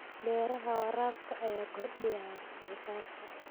Beeraha waraabka ayaa kordhiya wax soo saarka.